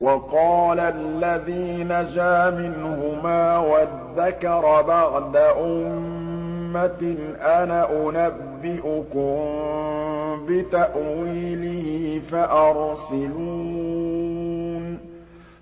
وَقَالَ الَّذِي نَجَا مِنْهُمَا وَادَّكَرَ بَعْدَ أُمَّةٍ أَنَا أُنَبِّئُكُم بِتَأْوِيلِهِ فَأَرْسِلُونِ